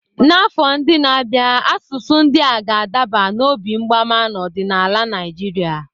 N'afọ ndị na-abịa, asụsụ ndị a ga-adaba n'obi mgbama n'ọdịnala Naịjirịa.